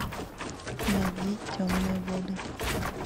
найди темные воды